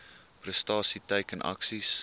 prestasie teiken aksies